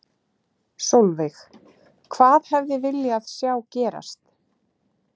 Sólveig: Hvað hefði viljað sjá gerast?